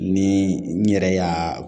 Ni n yɛrɛ y'a